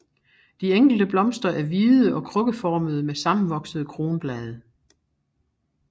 De enkelte blomster er hvide og krukkeformede med sammenvoksede kronblade